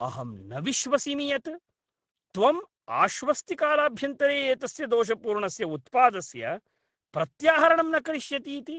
अहं न विश्वसिमि यत् त्वम् आश्वस्तिकालाभ्यन्तरे एतस्य दोषपूर्णस्य उत्पादस्य प्रत्याहरणं न करिष्यति इति।